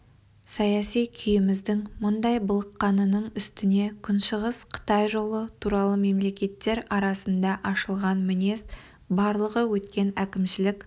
саяси күйіміздің мұндай былыққанының үстіне күншығыс қытай жолы туралы мемлекеттер арасында ашылған мінез барлығы өткен әкімшілік